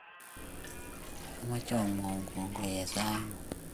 amoche amwoun kongoi eng sait ngung.